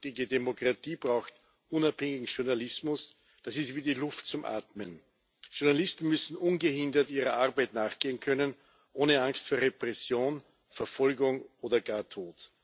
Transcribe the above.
Eine lebendige Demokratie braucht unabhängigen Journalismus das ist wie die Luft zum Atmen. Journalisten müssen ungehindert ihrer Arbeit nachgehen können, ohne Angst vor Repression, Verfolgung oder gar Tod.